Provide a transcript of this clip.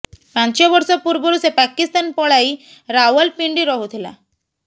ପାଞ୍ଚ ବର୍ଷ ପୂର୍ବରୁ ସେ ପାକିସ୍ତାନ ପଳାଇ ରାୱାଲପିଣ୍ଡି ରହୁଥିଲା